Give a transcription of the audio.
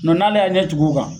n'ale y'a ɲɛ tugu o kan.